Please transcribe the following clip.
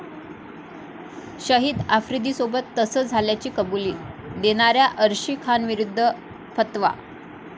शाहिद आफ्रिदीसोबत तसं झाल्याची कबुली देणाऱ्या अर्शी खानविरुद्ध फतवा